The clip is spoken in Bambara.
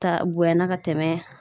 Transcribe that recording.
Ta bonyana ka tɛmɛ